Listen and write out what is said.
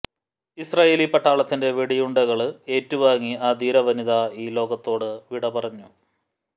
Israeli പട്ടാളത്തിന്റെ വെടിയുണ്ടകള് ഏറ്റുവാങ്ങി ആ ധീര വനിത ഈ ലോകത്തോട് വിട പറഞ്ഞു